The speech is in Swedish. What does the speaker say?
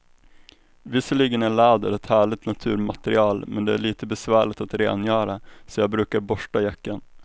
Visserligen är läder ett härligt naturmaterial, men det är lite besvärligt att rengöra, så jag brukar borsta jackan.